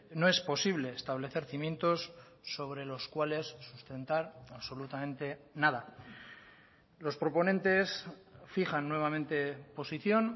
no es posible establecer cimientos sobre los cuales sustentar absolutamente nada los proponentes fijan nuevamente posición